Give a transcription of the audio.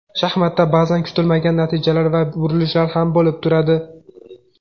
Shaxmatda ba’zan kutilmagan natijalar va burilishlar ham bo‘lib turadi.